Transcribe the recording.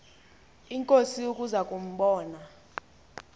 inkosi ukuza kumbona